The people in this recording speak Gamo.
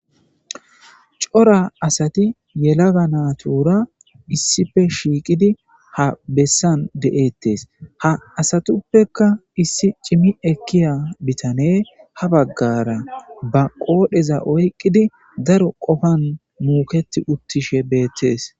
cora asati yelaga natura issife shiiqidi ha bessan de7ettes ha asatuppeka issi cimi ekkiya bitaneu ha baggara ba qoodheza oyqqidi daro qofan muuketi uttishe beettees